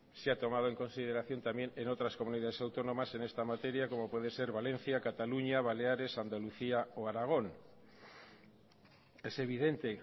se ha tomado en consideración también en otras comunidades autónomas en esta materia como puede ser valencia cataluña baleares andalucía o aragón es evidente